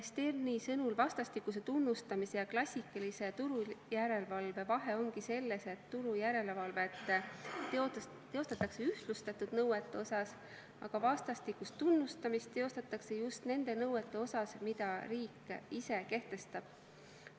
Sterni sõnul ongi vastastikuse tunnustamise ja klassikalise turujärelevalve vahe selles, et turujärelevalvet teostatakse ühtlustatud nõuete osas, aga vastastikust tunnustamist teostatakse just nende nõuete osas, milles riik ise kehtestab.